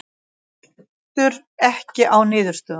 Veltur ekki á niðurstöðunum